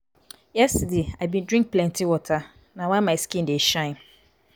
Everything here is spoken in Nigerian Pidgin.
yesterday i bin drink plenty water na why my skin dey shine.